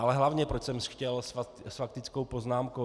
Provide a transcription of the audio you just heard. Ale hlavně, proč jsem chtěl s faktickou poznámkou.